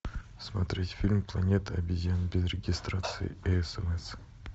смотреть фильм планета обезьян без регистрации и смс